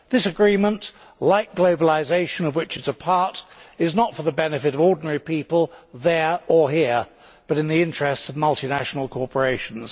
This agreement, like globalisation of which it is a part is not for the benefit of ordinary people there or here, but in the interests of multinational corporations.